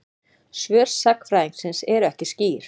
Svör sagnfræðingsins eru ekki skýr.